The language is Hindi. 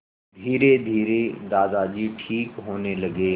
धीरेधीरे दादाजी ठीक होने लगे